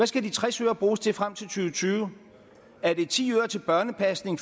skal de tres øre bruges til frem til 2020 er det ti øre til børnepasning